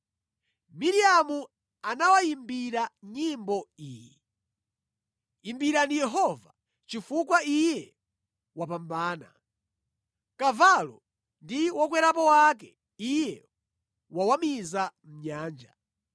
Miriamu anawayimbira nyimbo iyi: “Imbirani Yehova, chifukwa iye wapambana. Kavalo ndi wokwerapo wake Iye wawamiza mʼnyanja.”